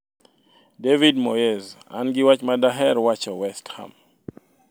David Moyes: An gi wach ma daher wacho West Ham